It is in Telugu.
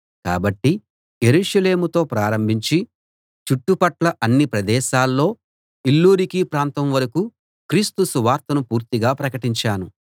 కాబట్టి యెరూషలేముతో ప్రారంభించి చుట్టుపట్ల అన్ని ప్రదేశాల్లో ఇల్లూరికు ప్రాంతం వరకూ క్రీస్తు సువార్తను పూర్తిగా ప్రకటించాను